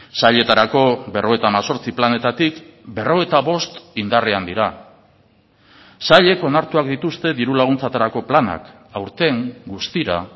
sailetarako berrogeita hemezortzi planetatik berrogeita bost indarrean dira sailek onartuak dituzte diru laguntzetarako planak aurten guztira